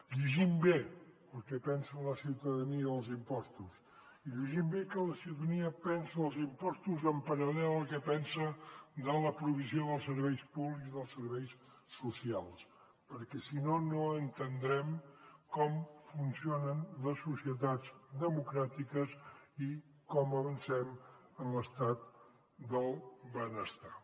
llegim bé el que pensa la ciutadania dels impostos i llegim bé el que la ciutadania pensa dels impostos en paral·lel al que pensa de la provisió dels serveis públics dels serveis socials perquè si no no entendrem com funcionen les societats democràtiques i com avancem en l’estat del benestar